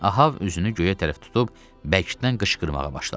Ahab üzünü göyə tərəf tutub bəkdən qışqırmağa başladı.